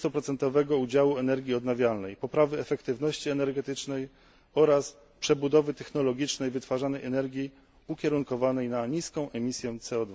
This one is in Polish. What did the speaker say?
20 udziału energii odnawialnej, poprawy efektywności energetycznej oraz przebudowy technologicznej wytwarzanej energii ukierunkowanej na niską emisję CO